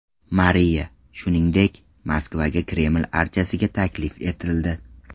Mariya, shuningdek, Moskvaga Kreml archasiga taklif etildi.